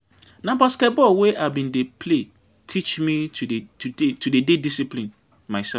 Na basketball wey I bin dey play teach me to dey discipline mysef.